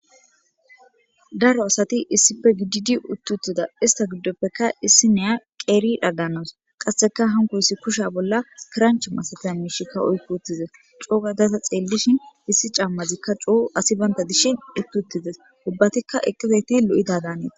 Daaro asati issippe giddi uti uttida issita gidopeka issiniya keri yidha danawusu qaseka hankoysi kushshe bolla kiranche masatizayssa mishshaka oyqqi uttides co gada ta xellishin issi camazika co asi baynda dishin uti utidesi ubbatika eqqidayti loidda danesi.